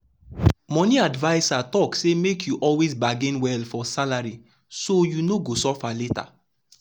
the money adviser talk say make you always bargain well for salary so you no go suffer later.